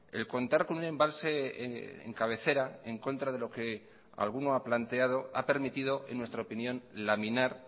el contar con un embalse en cabecera en contra de lo que alguno ha planteado ha permitido en nuestra opinión laminar